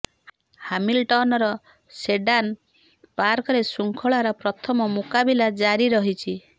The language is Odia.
ହାମିଲଟନର ସେଡାନ ପାର୍କରେ ଶୃଙ୍ଖଳାର ପ୍ରଥମ ମୁକାବିଲା ଜାରି ରହିଛି